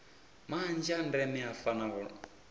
manzhi a ndeme a fanaho